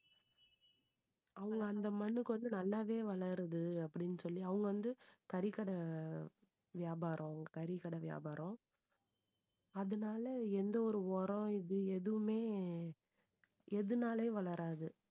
அவங்க அந்த மண்ணுக்கு வந்து நல்லாவே வளருது அப்படின்னு சொல்லி அவங்க வந்து கறிக்கடை வியாபாரம் கறிக்கடை வியாபாரம் அதனால எந்த ஒரு உரம் இது எதுவுமே எதுனாலயும் வளராது